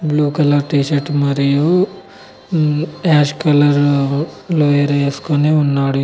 Blue colour T shirt మరియు మ్మ్ ash colour lower ఏసుకొని ఉన్నాడు.